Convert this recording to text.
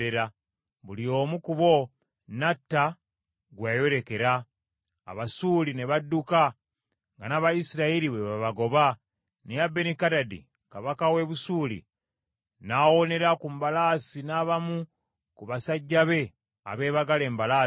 Buli omu ku bo n’atta gwe yayolekera. Abasuuli ne badduka, nga n’Abayisirayiri bwe babagoba, naye Benikadadi kabaka w’e Busuuli n’awonera ku mbalaasi n’abamu ku basajjabe abeebagala embalaasi.